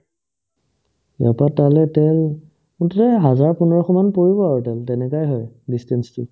ইয়াৰ পৰা তালে তেল মুঠতে হাজাৰ পোন্ধৰশমান পৰিব আৰু তেল তেনেকুৱাই হয় distance তো